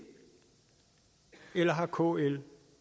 eller har kl